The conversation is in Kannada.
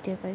ಇದೆ .